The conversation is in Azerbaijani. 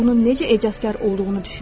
Bunun necə ecazkar olduğunu düşünün.